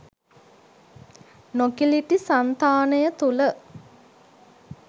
නොකිලිටි සන්තානය තුළ